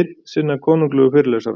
einn sinna konunglegu fyrirlesara.